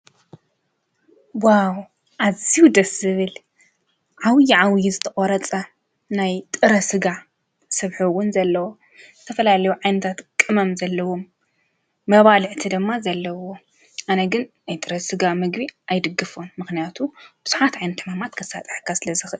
ምግብ ሰብ ንህይወትን ንሓይሊን ዝውዕል ነገር እዩ። ንሰውነት ካሎሪ፣ ፕሮቲንን ሌሎች ንጥረ-ምግቢን ይሃብ። ጥዕና ንምሕባርን ዕድገት ንምድጋፍን ኣገዳሲ እዩ።